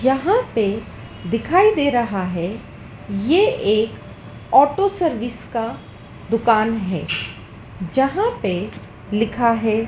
जहाँ पे दिखाई दे रहा है ये एक ऑटो सर्विस का दुकान है जहाँ पे लिखा है।